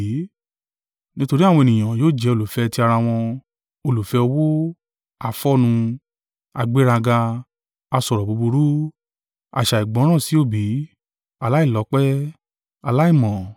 Nítorí àwọn ènìyàn yóò jẹ́ olùfẹ́ ti ara wọn, olùfẹ́ owó, afọ́nnu, agbéraga, asọ̀rọ̀ búburú, aṣàìgbọràn sí òbí, aláìlọ́pẹ́, aláìmọ́.